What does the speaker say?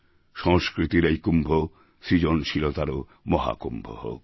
সংস্কৃতির এই কুম্ভ সৃজনশীলতারও মহাকুম্ভ হোক